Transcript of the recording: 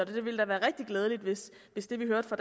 ville være rigtig glædeligt hvis det vi hørte fra